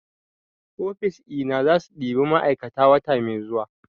ofis ina zasu ɗiba ma'aikata wata mai zuwa